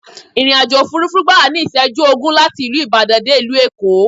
ìrìn-àjò òfurufú gbàwá ní iṣẹju ogún láti ìlú ìbàdàn dé ìlú èkó